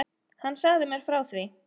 Hann sagði mér frá því.